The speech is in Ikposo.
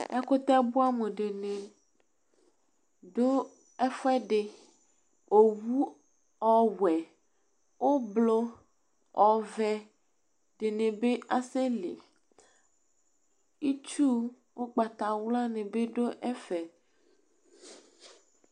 Ɛkutɛ bua mu dini du ɛfu ɛdi Owu owuɛ, oblu, oʋɛdini bi asɛ li Itsu ugbata wlua ni bi du ɛfɛ